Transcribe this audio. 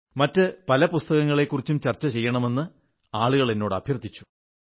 മറ്റു പല പുസ്തങ്ങളക്കുറിച്ചും ചർച്ച ചെയ്യണമെന്ന് ആളുകൾ എന്നോട് അഭ്യർഥിച്ചു